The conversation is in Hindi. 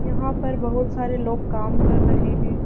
यहां पर बहोत सारे लोग काम कर रहे हैं।